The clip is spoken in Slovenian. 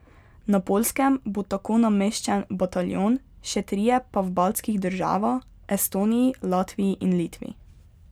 Na Poljskem bo tako nameščen bataljon, še trije pa v baltskih država, Estoniji, Latviji in Litvi.